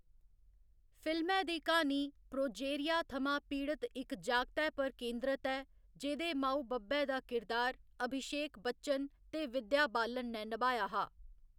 फिल्मै दी क्हानी प्रोजेरिया थमां पीड़त इक जागतै पर केंद्रत ऐ जेह्‌दे माऊ बब्बै दा किरदार अभिशेक बच्चन ते विद्या बालन ने नभाया हा।